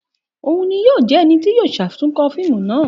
Òun ni yoo jẹ ẹni ti yíò ṣatunkọ fiimu naa